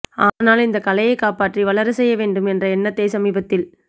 ஆனால் இந்த கலையை காப்பாற்றி வளரச்செய்ய வேண்டும் என்ற எண்ணத்தை சமீபத்தில்